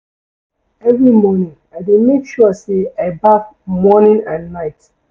Every morning, I dey make sure sey I baff morning and night.